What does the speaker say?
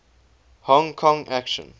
hong kong action